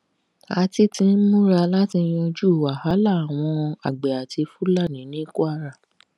a ti ti ń múra láti yanjú wàhálà àwọn àgbẹ àti fúlàní ní kwara